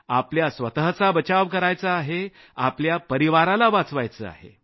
आपल्या स्वतःचा बचाव करायचा आहे आपल्या परिवाराला वाचवायचं आहे